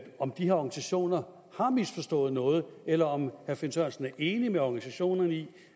om de her organisationer har misforstået noget eller om herre finn sørensen er enig med organisationerne i